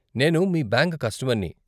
నేను మీ బ్యాంక్ కస్టమర్ని.